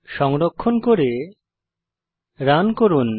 সংরক্ষণ করে রান করুন